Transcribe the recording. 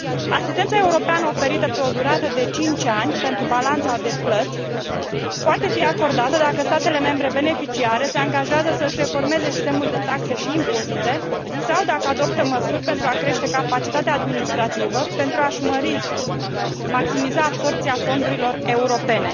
Asistența europeană oferită pe o durată de 5 ani pentru balanța de plăți poate fi acordată dacă statele membre beneficiare se angajează să își reformeze sistemul de taxe și impozite sau dacă adoptă măsuri pentru a crește capacitatea administrativă, pentru a și mări, maximiza absorbția fondurilor europene.